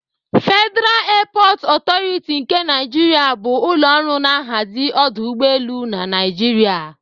Federa Eepọt Ọtọriti nke Naịjrịa bụ ụlọ ọrụ na-ahazi ọdụ ụgbọelu na Naịjirịa